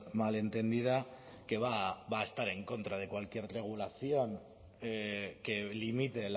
mal entendida que va a estar en contra de cualquier regulación que limite